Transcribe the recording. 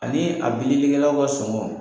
Ani a bilikɛlaw ka sɔngɔ